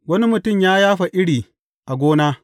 Wani mutum ya yafa iri a gona.